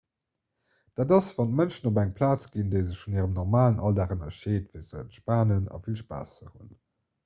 dat ass wann d'mënschen op eng plaz ginn déi sech vun hirem normalen alldag ënnerscheet fir ze entspanen a vill spaass ze hunn